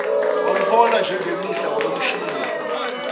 wamhola njengemihla wayomshiya